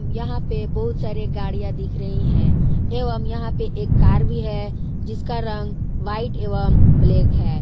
यहां पे बहुत सारे गाड़ियां दिख रही है एवम यहां पे एक कार भी है जिसका रंग व्हाइट एवं ब्लैक है।